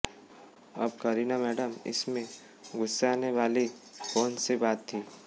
अब करीना मैडम इसमें गु्स्साने वाली कौन सी बात थीं